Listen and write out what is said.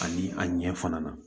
Ani a ɲɛ fana na